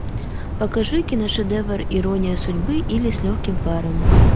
покажи киношедевр ирония судьбы или с легким паром